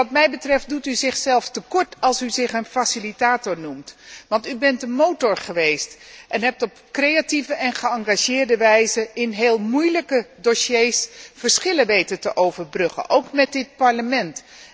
Wat mij betreft doet u zichzelf tekort als u zich een facilitator noemt, want u bent de motor geweest en hebt op creatieve en geëngageerde wijze in heel moeilijke dossiers verschillen weten te overbruggen, ook met dit Parlement.